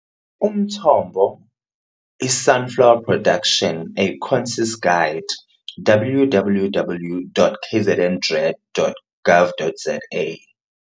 Umthombo - I-Sunflower Production - A Concise Guide, www.kzndrad.gov.za.